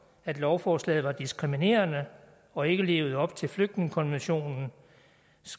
at lovforslaget var diskriminerende og ikke levede op til flygtningekonventionens